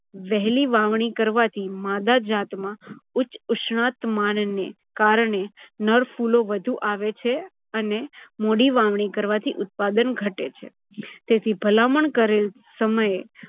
વહેલી વાવણી કરવાથી માદા જાતમાં ઊંચ ઉસ્ણાતમાન ને કારણે નર ફુલો વધુ આવે છે અને મોડી વાવણી કરવાથી ઉત્પાદન ઘટે છે. તેથી ભલામણ કરેલ સમયે